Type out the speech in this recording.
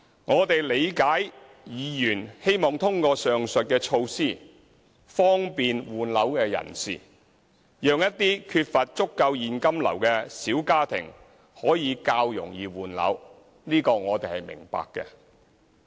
我們理解，議員希望通過上述措施方便換樓人士，讓一些缺乏足夠現金流的小家庭可以較容易換樓。